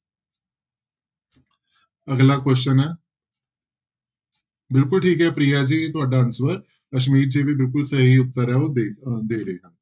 ਅਗਲਾ question ਹੈ ਬਿਲਕੁਲ ਠੀਕ ਹੈ ਪ੍ਰਿਆ ਜੀ ਤੁਹਾਡਾ answer ਅਸਮੀਤ ਜੀ ਵੀ ਬਿਲਕੁਲ ਸਹੀ ਉੱਤਰ ਹੈ ਉਹ ਦੇ ਅਹ ਦੇ ਰਹੇ ਆ।